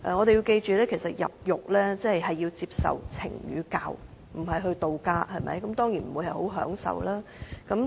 大家請記着，入獄是為了接受懲與教，不是度假，當然不會很享受。